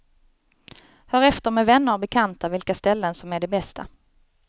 Hör efter med vänner och bekanta vilka ställen som är de bästa.